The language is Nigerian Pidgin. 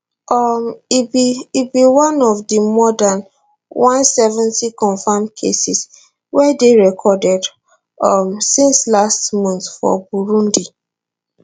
um e be e be one of di more dan 170 confirmed cases wey dey recorded um since last month for burundi